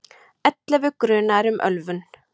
Ellefu grunaðir um ölvun